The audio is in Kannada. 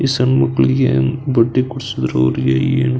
ಈ ಸಣ್ಣ ಮಕ್ಕಳಿಗೆ ಬಟ್ಟೆ ಕೊಡ್ಸಿದ್ರು ಅವ್ರಿಗೆ ಏನ್ --